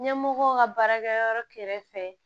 Ɲɛmɔgɔw ka baarakɛ yɔrɔ kɛrɛfɛ